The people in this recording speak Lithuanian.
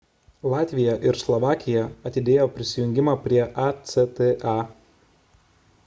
latvija ir slovakija atidėjo prisijungimą prie acta